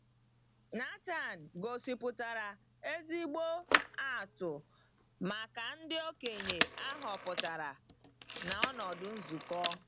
Nàthán gosipụtara ezigbo atụ maka ndị okenye a họpụtara n’ọnọdụ nzukọ.